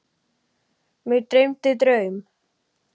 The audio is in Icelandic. Mig dreymdi draum.